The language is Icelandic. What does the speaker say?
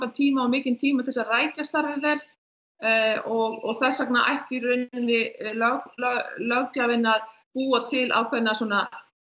tíma og mikinn tíma til að rækja starfið vel og þess vegna ætti í rauninni löggjafinn að búa til ákveðna svona